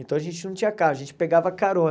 Então a gente não tinha carro, a gente pegava carona.